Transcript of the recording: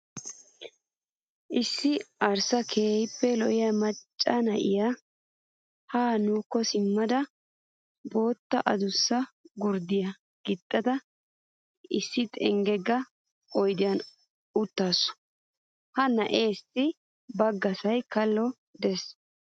Issi arssa keehippe lee'e macca naa'iyaa ha nuukko simmada bootta adussa gurddiyaa gixxada issi xenggegga oyidiyaan uttaasu. Ha na'eessi baggasayi kallo des.